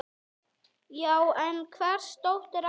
Já, en hvers dóttir ertu?